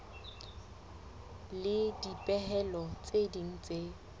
le dipehelo tse ding tse